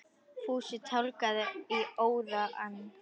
Fúsi tálgaði í óða önn.